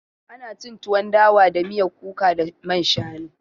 Ana cin tuwon dawa da miyan kuka da man shanu.